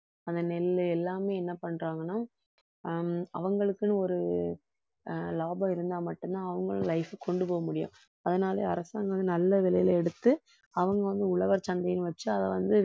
அந்த நெல்லு எல்லாமே என்ன பண்றாங்கன்னா ஆஹ் அவங்களுக்குன்னு ஒரு ஆஹ் லாபம் இருந்தா மட்டும்தான் அவங்களும் life க்கு கொண்டு போக முடியும் அதனால அரசாங்கம் வந்து நல்ல விலையில எடுத்து அவங்க வந்து உழவர் சந்தைன்னு வச்சு அதை வந்து